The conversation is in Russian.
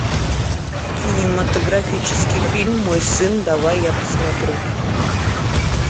кинематографический фильм мой сын давай я посмотрю